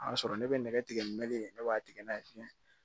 A y'a sɔrɔ ne bɛ nɛgɛ tigɛ meleke in ne b'a tigɛ n'a ye tiɲɛ